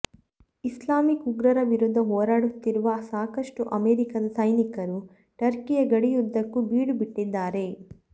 Islamic ಉಗ್ರರ ವಿರುದ್ಧ ಹೋರಾಡುತ್ತಿರುವ ಸಾಕಷ್ಟು ಅಮೆರಿಕದ ಸೈನಿಕರು ಟರ್ಕಿಯ ಗಡಿಯುದ್ದಕ್ಕೂ ಬೀಡುಬಿಟ್ಟಿದ್ದಾರೆ